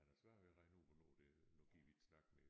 Han har svært ved at regne ud hvornår det nu gider vi ikke snakke mere